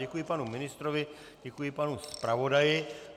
Děkuji panu ministrovi, děkuji panu zpravodaji.